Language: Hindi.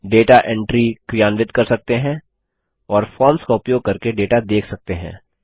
डेटा एंट्री क्रियान्वित कर सकते हैं और फॉर्म्स का उपयोग करके डेटा देख सकते हैं